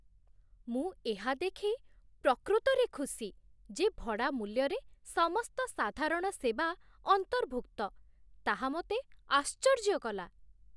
ମୁଁ ଏହା ଦେଖି ପ୍ରକୃତରେ ଖୁସି ଯେ ଭଡ଼ା ମୂଲ୍ୟରେ ସମସ୍ତ ସାଧାରଣ ସେବା ଅନ୍ତର୍ଭୁକ୍ତ ତାହା ମୋତେ ଆଶ୍ଚର୍ଯ୍ୟ କଲା!